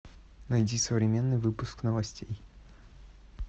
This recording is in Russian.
найди современный выпуск новостей